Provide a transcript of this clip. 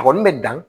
A kɔni bɛ dan